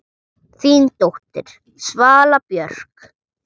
Þín dóttir, Svala Björk.